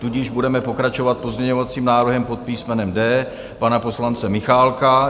Tudíž budeme pokračovat pozměňovacím návrhem pod písmenem D pana poslance Michálka.